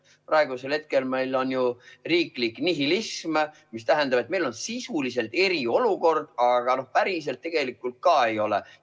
Praegu meil on ju riiklik nihilism: meil on sisuliselt eriolukord, aga päriselt tegelikult ei ole.